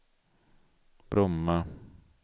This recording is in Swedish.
Bromma